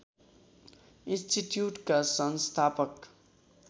इन्स्टिच्युटका संस्थापक